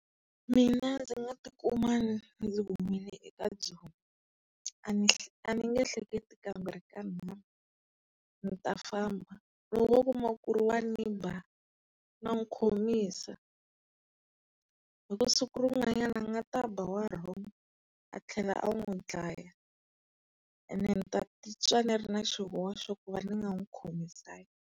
Mina ndzi nga tikuma ndzi humile eka byona. a ni nge hleketi kambirhi kanharhu. Ni ta famba. Loko wo kuma ku ri wa ni ba, na n'wi khomisa. Hiku siku rin'wanyana a nga ta ba wa wrong, a tlhela a n'wu dlaya. Ene ni ta titwa ni ri na xihoxo ku va ni nga n'wi khomisanga.